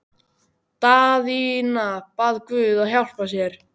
Daðína bað guð að hjálpa sér.